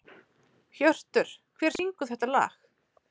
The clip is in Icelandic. Hjörtur, hver syngur þetta lag?